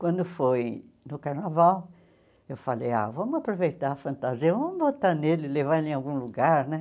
Quando foi no Carnaval, eu falei, ah vamos aproveitar a fantasia, vamos botar nele, levar em algum lugar né.